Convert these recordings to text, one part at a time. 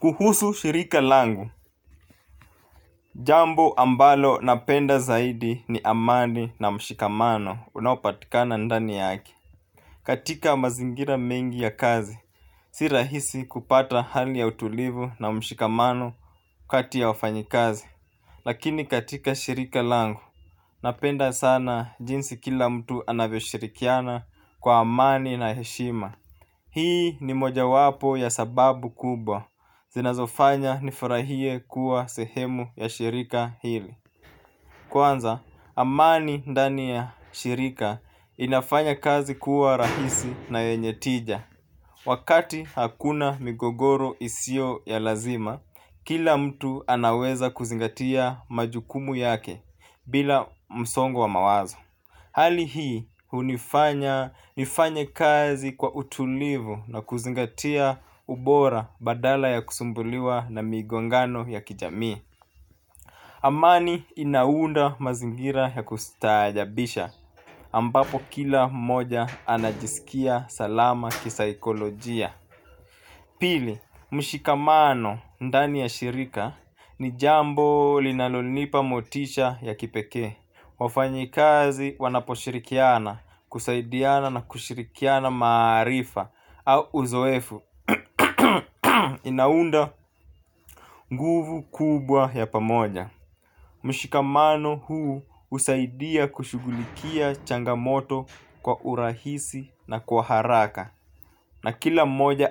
Kuhusu shirika langu. Jambo ambalo napenda zaidi ni amani na mshikamano unaopatikana ndani yake. Katika mazingira mengi ya kazi si rahisi kupata hali ya utulivu na mshikamano kati ya wafanyikazi. Lakini katika shirika langu napenda sana jinsi kila mtu anavyoshirikiana kwa amani na heshima. Hii ni moja wapo ya sababu kubwa. Zinazofanya nifurahie kuwa sehemu ya shirika hili. Kwanza, amani ndani ya shirika inafanya kazi kuwa rahisi na yenye tija. Wakati hakuna migogoro isiyo ya lazima, kila mtu anaweza kuzingatia majukumu yake bila msongo wa mawazo. Hali hii hunifanya nifanye kazi kwa utulivu na kuzingatia ubora badala ya kusumbuliwa na migongano ya kijamii Amani inaunda mazingira ya kustaajabisha ambapo kila mmoja anajisikia salama kisaikolojia. Pili, mshikamano ndani ya shirika ni jambo linalonipa motisha ya kipekee. Wafanyikazi wanaposhirikiana kusaidiana na kushirikiana maarifa au uzoefu inaunda nguvu kubwa ya pamoja. Mshikamano huu husaidia kushugulikia changamoto kwa urahisi na kwa haraka hali hii hunifanya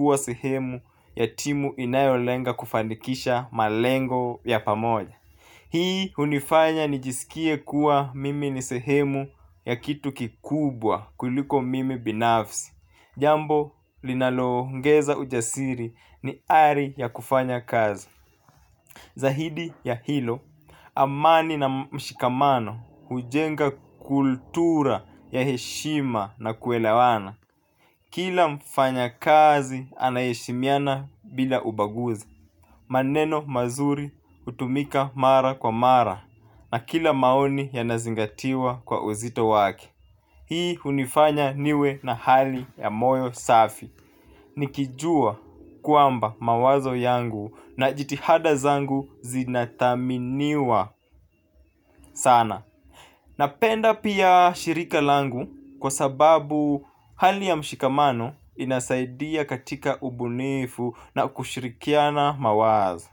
nifanye kazi kwa utulivu na kuzingatia ubora badala ya kusumbuliwa na migongano ya kijamii hii hunifanya nijisikie kuwa mimi ni sehemu ya kitu kikubwa kuliko mimi binafsi jambo linaloongeza ujasiri ni ari ya kufanya kazi. Zahidi ya hilo, amani na mshikamano, hujenga kultura ya heshima na kuelewana. Kila mfanyakazi anaheshimiana bila ubaguzi. Maneno mazuri hutumika mara kwa mara na kila maoni yanazingatiwa kwa uzito wake. Hii unifanya niwe na hali ya moyo safi. Nikijua kwamba mawazo yangu na jitihada zangu zinathaminiwa sana. Napenda pia shirika langu kwa sababu hali ya mshikamano inasaidia katika ubunifu na kushirikiana mawazo.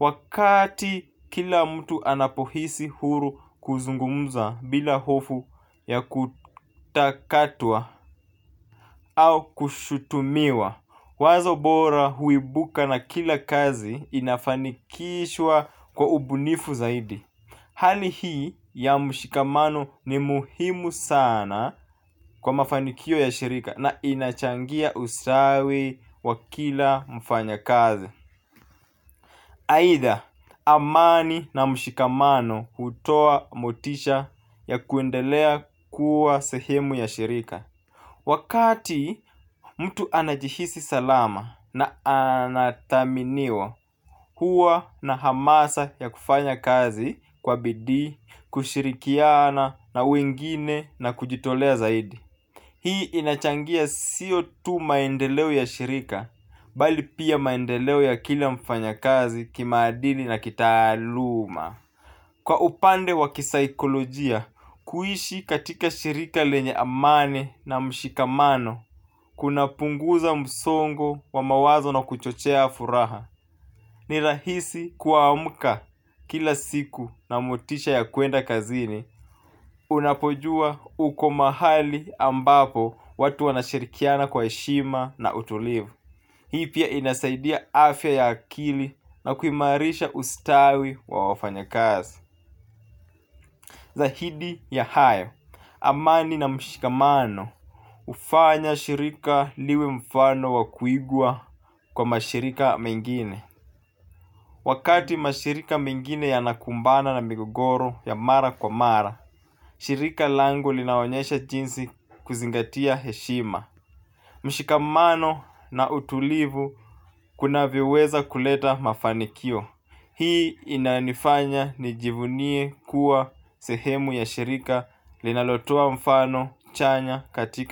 Wakati kila mtu anapohisi huru kuzungumza bila hofu ya kutakatwa au kushutumiwa, wazo bora huibuka na kila kazi inafanikishwa kwa ubunifu zaidi. Hali hii ya mshikamano ni muhimu sana kwa mafanikio ya shirika na inachangia ustawi wa kila mfanyakazi. Aidha amani na mshikamano hutoa motisha ya kuendelea kuwa sehemu ya shirika. Wakati mtu anajihisi salama na anathaminiwa huwa na hamasa ya kufanya kazi kwa bidii, kushirikiana na wengine na kujitolea zaidi. Hii inachangia sio tu maendeleo ya shirika bali pia maendeleo ya kila mfanya kazi kimaadini na kitaaluma kwa upande wa kisaikolojia kuishi katika shirika lenye amani na mshikamano kuna punguza msongo wa mawazo na kuchochea furaha ni rahisi kuamka kila siku na motisha ya kwenda kazini, unapojua uko mahali ambapo watu wanashirikiana kwa heshima na utulivu. Hii pia inasaidia afya ya akili na kuimarisha ustawi wa wafanya kazi. Zahidi ya hayo, amani na mshikamano hufanya shirika liwe mfano wa kuigwa kwa mashirika mengine. Wakati mashirika mengine ya nakumbana na migogoro ya mara kwa mara, shirika langu linaonyesha jinsi kuzingatia heshima. Mshikamano na utulivu kunavyoweza kuleta mafanikio. Hii inanifanya nijivunie kuwa sehemu ya shirika linalotoa mfano chanya katika.